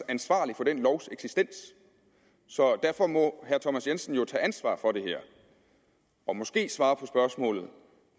ansvarlig for den lovs eksistens så derfor må herre thomas jensen jo tage ansvar for det her og måske svare på spørgsmålet